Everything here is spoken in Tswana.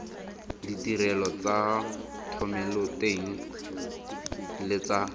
ditirelo tsa thomeloteng le tsa